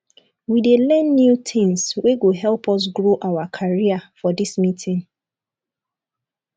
we dey learn new tins wey go help us grow our career for dis meeting